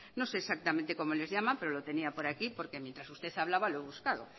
no sé exactamente cómo les llama pero lo tenía por aquí porque mientras usted hablaba lo he buscado